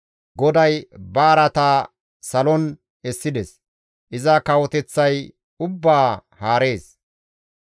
GODAY ba araataa salon essides; iza kawoteththay ubbaa haarees.